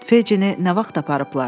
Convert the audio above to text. “Fejcini nə vaxt aparıblar?”